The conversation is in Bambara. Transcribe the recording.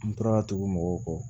N tora tugu mɔgɔw kɔ